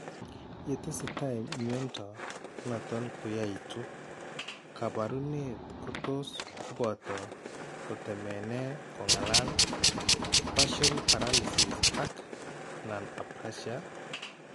Ya tesetai mnyndo noton koyaaitu, kaabarunet ko tos koboto kotemene kong'alal, partial paralysis ak/anan apraxia.